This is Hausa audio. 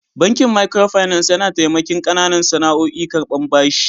Bankin "micro finance " yana tamaki kananan sana'oƴ karban bashi.